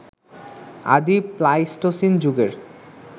আদি প্লাইস্টোসিন যুগের